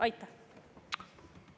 Aitäh!